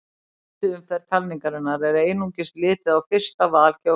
Í fyrstu umferð talningarinnar er einungis litið á fyrsta val kjósenda.